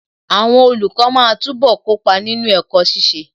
Àwọn olùkọ́ máa túbọ̀ kópa nínú ẹ̀kọ́ ṣiṣẹ́.